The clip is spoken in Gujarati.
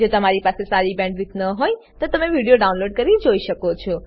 જો તમારી પાસે સારી બેન્ડવિડ્થ ન હોય તો તમે વિડીયો ડાઉનલોડ કરીને જોઈ શકો છો